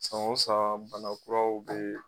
San o san bana kuraw bee